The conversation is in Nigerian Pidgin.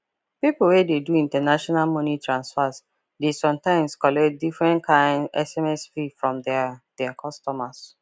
people wey dey do international money transfer dey sometimes collect different kind sms fee from their their customers